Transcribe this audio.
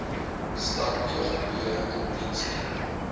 stad bgp indiensneming